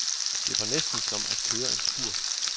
Det var næsten som at køre en spurt.